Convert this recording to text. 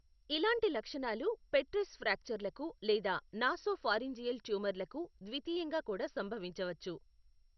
ఇలాంటి లక్షణాలు పెట్రస్ ఫ్రాక్చర్లకు లేదా నాసోఫారింజియల్ ట్యూమర్లకు ద్వితీయంగా కూడా సంభవించవచ్చు.